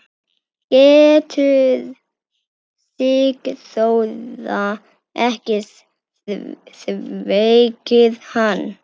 Getur Sigþóra ekki þvegið hann?